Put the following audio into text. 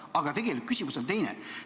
Aga tegelikult küsimus on teine.